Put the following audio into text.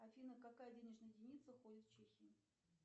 афина какая денежная единица ходит в чехии